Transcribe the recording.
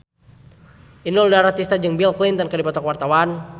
Inul Daratista jeung Bill Clinton keur dipoto ku wartawan